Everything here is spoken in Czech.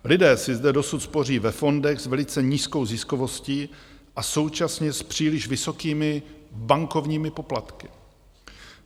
Lidé si zde dosud spoří ve fondech s velice nízkou ziskovostí a současně s příliš vysokými bankovními poplatky.